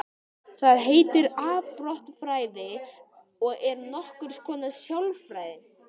Það heitir afbrotafræði og er nokkurs konar sálfræði.